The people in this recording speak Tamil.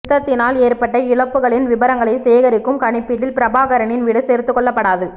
யுத்தத்தினால் ஏற்பட்ட இழப்புகளின் விபரங்களை சேகரிக்கும் கணிப்பீட்டில் பிரபாகரனின் வீடு சேர்த்துக் கொள்ளப்படாது